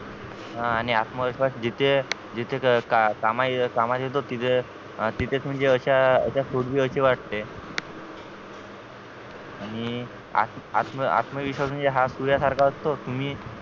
आणि आत्मविश्वास जिथे जिथे कामा कामा येतो तिथे तिथेच म्हणजे अश्या अशा असे वाटते आणि आत्म आत्म आत्मविश्वास म्हणजे सूर्यासारखा असतो कि मी